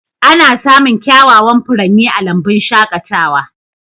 Ana samun kyawawan furanni a lambun shaƙatawa.